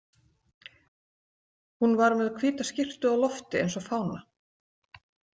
Hún var með hvíta skyrtu á lofti eins og fána.